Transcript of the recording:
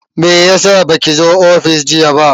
Meyasa baki zo ofis jiya ba?